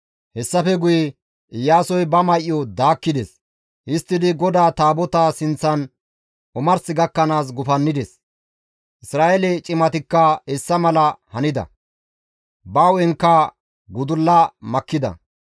Hessafe guye Iyaasoy ba may7o daakkides; histtidi GODAA Taabotaa sinththan omars gakkanaas gufannides. Isra7eele cimatikka hessa mala hanida; ba hu7enkka gudulla makkida.